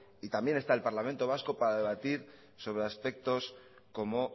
y también está el parlamento vasco para debatir sobre aspectos como